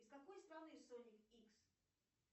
из какой страны соник икс